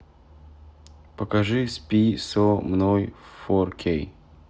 покажи спи со мной фор кей